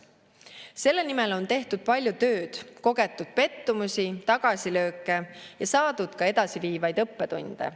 Selle nimel on tehtud palju tööd, kogetud pettumusi, tagasilööke ja saadud ka edasiviivaid õppetunde.